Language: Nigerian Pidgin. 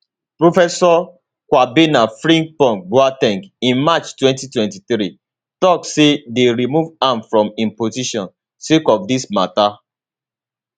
professor kwabena frimpongboa ten g in march 2023 tok say dey remove am from im position sake of dis mata